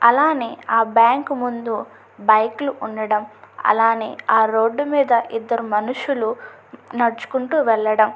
అలానే ఆ బ్యాంకు ముందు బైకులు ఉండడం అలానే ఆ రోడ్డు మీద ఇద్దరు మనుషులు నడుచుకుంటూ వెళ్లడం --